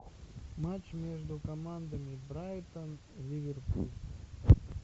матч между командами брайтон ливерпуль